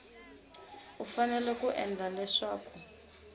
u fanele ku endla leswaku